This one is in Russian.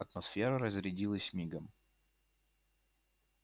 атмосфера разрядилась мигом